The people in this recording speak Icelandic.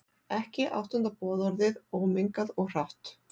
Ekki áttunda boðorðið, ómengað og hrátt.